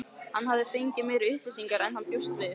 Hann hafði fengið meiri upplýsingar en hann bjóst við.